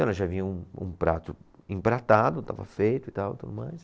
Então ela já vinha um, um prato empratado, estava feito e tal, tudo mais.